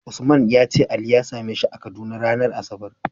Usman yace ali ya same shi a kaduna ranar asabar